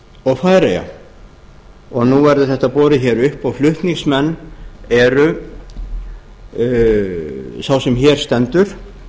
og færeyja nú verður þetta borið hér upp og flutningsmenn eru sá sem hér stendur